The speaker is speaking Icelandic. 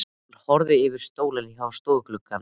Hann horfði yfir í stólinn hjá stofuglugganum.